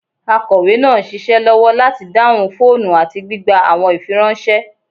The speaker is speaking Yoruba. Akọwe naa n ṣiṣẹ lọwọ lati dahun foonu ati gbigba awọn ifiranṣẹ